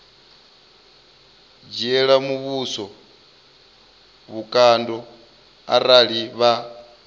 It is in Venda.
dzhiela muvhuso vhukando arali vha